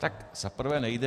Tak za prvé nejde.